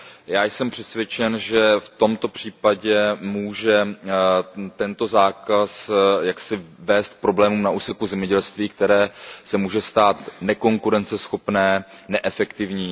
Já jsem přesvědčen, že v tomto případě může tento zákaz vést k problémům na úseku zemědělství, které se může stát nekonkurenceschopné, neefektivní.